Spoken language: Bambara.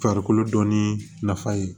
Farikolo dɔnni nafa ye